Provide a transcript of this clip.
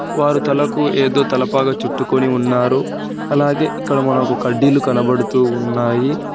వారు తలకు ఏదో తలపాగ చుట్టుకొని ఉన్నారు అలాగే ఇక్కడ మనకు కడ్డీలు కనబడుతూ ఉన్నాయి.